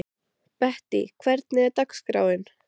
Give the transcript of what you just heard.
Bettý, hvernig er dagskráin?